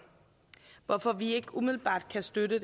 hvorfor vi ikke umiddelbart kan støtte